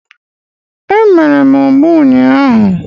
Emere m ụgba ụnyaahụ